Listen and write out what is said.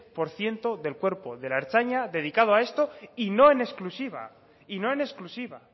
por ciento del cuerpo de la ertzaintza dedicado a esto y no en exclusiva y no en exclusiva